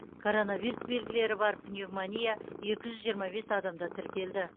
коронавирус белгілері бар пневмония екі жүз жиырма бес адамда тіркелді